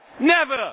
never